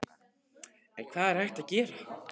En hvað er hægt að gera?